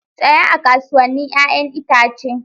Tsaya a kasuwannin 'ya'yan itace.